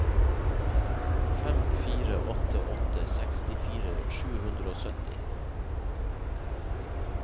fem fire åtte åtte sekstifire sju hundre og sytti